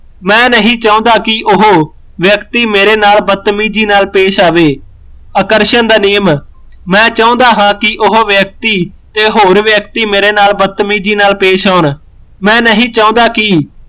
ਮੈਂ ਨਹੀਂ ਚਾਹੁੰਦਾ ਕਿ ਉਹ ਵਿਅਕਤੀ ਮੇਰੇ ਨਾਲ ਬਤਮੀਜ਼ੀ ਨਾਲ ਪੇਸ਼ ਆਵੇ ਆਕਰਸ਼ਣ ਦਾ ਨਿਯਮ ਮੈਂ ਚਾਹੁੰਦਾ ਹਾਂ ਉਹ ਵਿਅਕਤੀ ਤੇ ਹੋਰ ਵਿਅਕਤੀ ਮੇਰੇ ਨਾਲ ਬਤਮੀਜ਼ੀ ਨਾਲ ਪੇਸ਼ ਆਉਣ